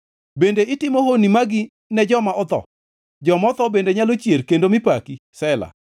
Bende itimo honni magi ne joma otho? Joma otho bende nyalo chier kendo mi paki? Sela